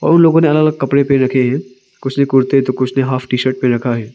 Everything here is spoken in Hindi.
उन लोगों ने अलग अलग कपड़े पहन रखे है कुछ ने कुर्ते तो कुछ नहीं हॉफ टी शर्ट पहन रखा है।